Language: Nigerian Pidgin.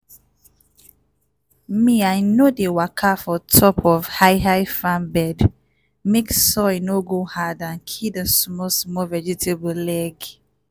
me i no dey waka for top of high-high farm bed mek soil no go hard and kill di small-small vegetable leg.